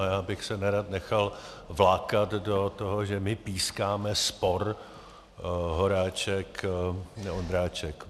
A já bych se nerad nechal vlákat do toho, že my pískáme spor Horáček-Ondráček.